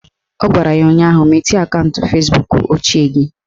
Ọ gwara ya ụnyaahụ "Mechie akaụntụ Fezbuk ochie gị"!